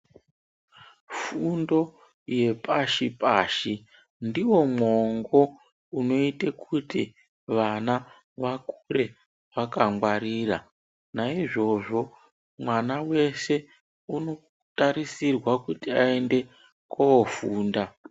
Fundo yepashi pashi ndiwo mwongo unoite kuti vana vakure vakangwarira. Naizvozvo, mwana weshe unotarisirwa kuti aende kunofunda.